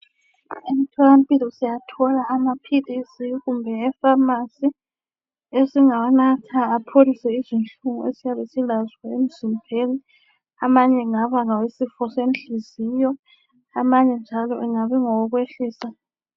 Emtholampilo siyathola amaphilisi kumbe e"pharmacy" esingawanatha apholise izinhlungu esiyabe silazo emzimbeni, amanye ngaba ngawesifo senhliziyo, amanye njalo angabe engawokwehlisa.